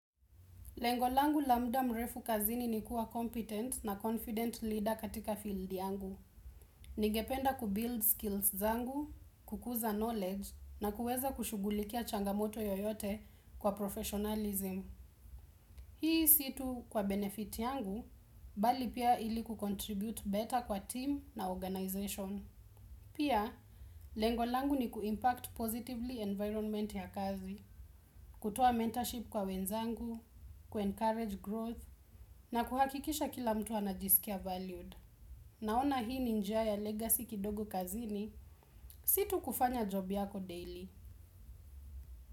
Lengo langu la muda mrefu kazini ni kuwa competent na confident leader katika field yangu. Ningependa kubuild skills zangu, kukuza knowledge, na kuweza kushughulikia changamoto yoyote kwa professionalism. Hii si tu kwa benefit yangu, bali pia ili kucontribute better kwa team na organization. Pia, lengo langu ni kuimpact positively environment ya kazi, kutoa mentorship kwa wenzangu, kuencourage growth na kuhakikisha kila mtu anajisikia valued. Naona hii ni njia ya legacy kidogo kazini. Si tu kufanya job yako daily.